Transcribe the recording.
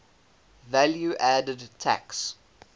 value added tax